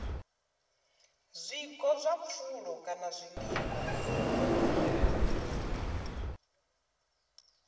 zwiko zwa pfulo kana zwiḽiwa